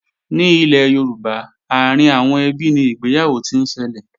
Ní ilẹ̀ Yorùbá, àárín àwọn ẹbí ni ìgbéyàwó ti ń ṣẹlẹ̀